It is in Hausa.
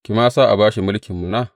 Ki ma sa a ba shi mulkin mana.